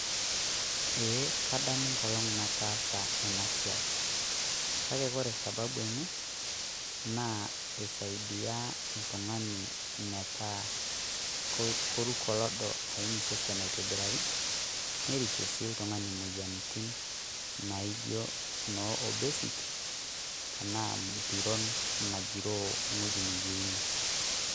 ee kadamu nkolong' natasa enasiai, kake wore sababu enye naa kisaidia oltung'ani metaa keruko loodo aim sesen aitobirari nerishie sii oltung'ani moyiaritin naijioo noo obesity tenaa impiron nagiro wueji nayieuni